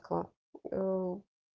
о в